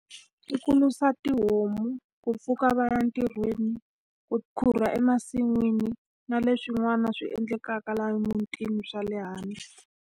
I ku risa tihomu, ku pfuka va ya ntirhweni, ku khukhura emasin'wini na leswin'wana swi endlekaka laha emutini swa le hansi.